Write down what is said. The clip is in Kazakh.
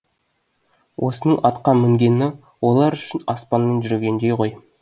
осының атқа мінгені олар үшін аспанмен жүргендей ғой